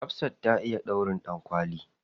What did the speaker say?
Hafsah ta iya ɗaurin ɗankwali.